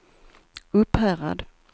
Upphärad